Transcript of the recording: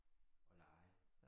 Og lege